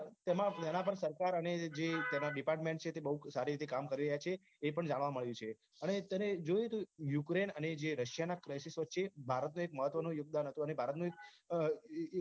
તેમાં જેના પર સરકાર અને જે department છે જે બહુ જ સારી રીતે કામ કરી રહ્યાં છે એ પણ જાણવા મલ્યું રહ્યું છે અને તને એ જોયું તું Ukraine અને જે Russia ના વચ્ચે ભારતનો એક મહત્વનું યોગદાન હતું અને ભારતનું